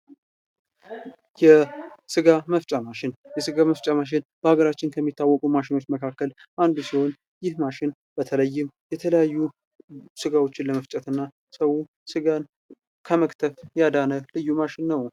የስጋ መፍጫ ማሽን የስጋ መፍጫ ማሽን በሀገራችን ከሚታወቁ ማሽኖች መካከል አንዱ ሲሆን ይህም ማሽን በተለይም የተለያዩ ስጋዎችን ለመፍጨት እና ሰውን ስጋ ከመክተፍ ያዳነ ልዩ ማሽን ነው ።